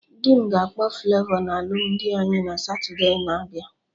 Dị m ga-akpọ Flavọ na alụmdi anyị na Satode na-abịa